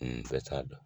N bɛɛ t'a dɔn